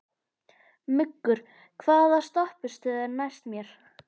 Muggur, hvaða stoppistöð er næst mér?